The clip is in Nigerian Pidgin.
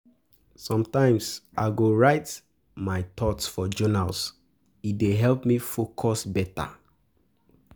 Sometimes I go write um my my thoughts for journal; e um dey help me focus beta.